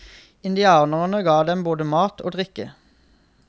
Indianerne ga dem både mat og drikke.